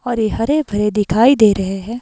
और ये हरे भरे दिखाई दे रहे हैं।